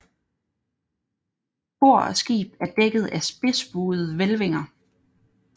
Kor og skib er dækket af spidsbuede hvælvinger